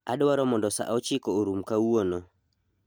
adwaro mondo sa ochiko orum kawuono